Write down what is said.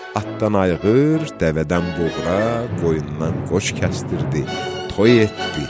Atdan ayğır, dəvədən buğra, qoyundan qoç kəsdirirdi, toy etdi.